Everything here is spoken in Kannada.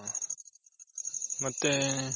ಮತ್ತೆ